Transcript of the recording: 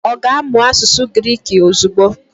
Ọ ga-amụ asụsụ Griki ozugbo?